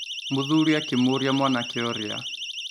Mũthuri akĩmũria mwanake ũrĩa